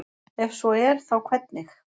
ef svo er þá hvernig